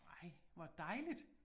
Nej hvor dejligt